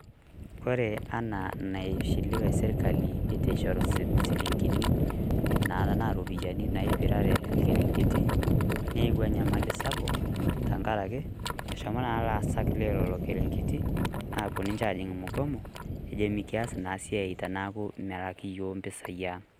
Kore enaa naishiiwe sirkali eitu eishoru shilingini naa tana ropiyiani naipirare irrnkerengeti, neiyeua nyamali sapuk tang'araki eshomoo naa laasak leloo irrnkerengeti aaku ninchee aji mgomoo ajo mikiaas na siaai taanaku meilaaki yook mpisai ang'.